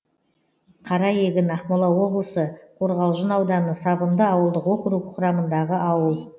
қараегін ақмола облысы қорғалжын ауданы сабынды ауылдық округі құрамындағы ауыл